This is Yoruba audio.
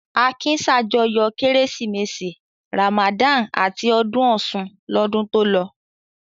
Akin ṣàjọyọ̀ Kérésìmesì, Ramadan àti ọdún Ọ̀ṣun lọ́dún tó lọ.